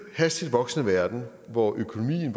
hastigt voksende verden hvor økonomien